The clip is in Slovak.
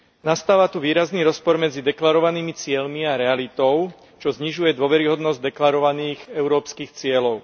Nastáva tu výrazný rozpor medzi deklarovanými cieľmi a realitou, čo znižuje dôveryhodnosť deklarovaných európskych cieľov.